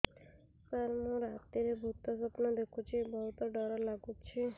ସାର ମୁ ରାତିରେ ଭୁତ ସ୍ୱପ୍ନ ଦେଖୁଚି ବହୁତ ଡର ଲାଗୁଚି